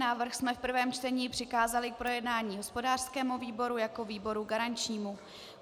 Návrh jsme v prvním čtení přikázali k projednání hospodářskému výboru jako výboru garančnímu.